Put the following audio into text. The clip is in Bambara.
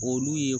Olu ye